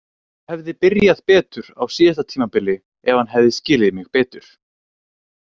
Hann hefði byrjað betur á síðasta tímabili ef hann hefði skilið mig betur.